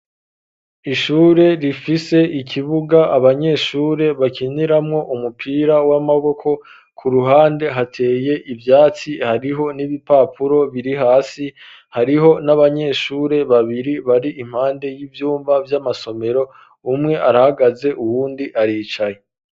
Ishure rifise ikibuga abanyeshure bakiniramo umupira w'amaboko ku ruhande hateye ivyatsi hariho n'ibipapuro biri hasi hariho n'abanyeshure babiri bari impande y'ivyumba vy'amasomero umwe arahagaze uwundi aricaye